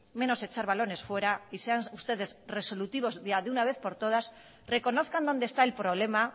menos echar balones fuera y sean ustedes resolutivos de una vez por todas reconozcan donde está el problema